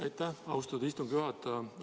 Aitäh, austatud istungi juhataja!